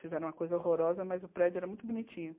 Fizeram uma coisa horrorosa, mas o prédio era muito bonitinho.